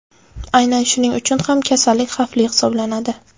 Aynan shuning uchun ham kasallik xavfli hisoblanadi.